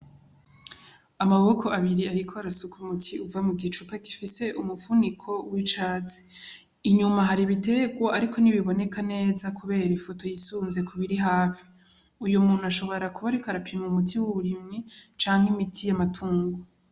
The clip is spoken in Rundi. Amaboko abiri, ariko arasuka muti uva mu gicupa gifise umupfuniko w'icatsi inyuma hari bitegwa, ariko nibiboneka neza, kubera ifoto yisunze ku biri hafi uyu muntu ashobora kubariko arapima mu muti wauburimwi canke imiti y' amatungo.